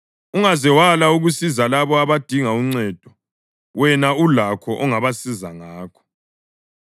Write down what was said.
Ungaze wala ukusiza labo abadinga uncedo, wena ulakho ongabasiza ngakho.